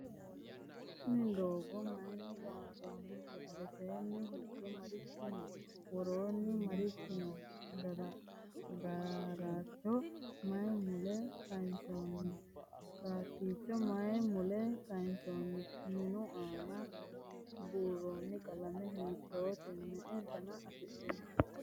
tiini doogo mayinni lonsoyite? alesenni hige marichi noo? woroseni marichi noo?"dararcho mayi mule kansonni? satticho mayi mule kayinsonno? miinu anna buroni qalame hiitote?me"e dana afidhinno?